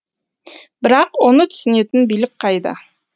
бірақ оны түсінетін билік қайда